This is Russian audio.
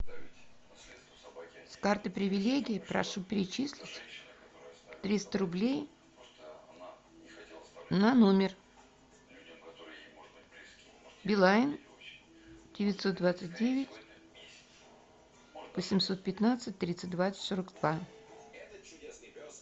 с карты привилегии прошу перечислить триста рублей на номер билайн девятьсот двадцать девять восемьсот пятнадцать тридцать два сорок два